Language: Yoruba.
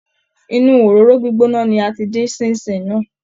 Inú òróró gbígbóná ni a ti dín Ṣín-in-ṣìn náà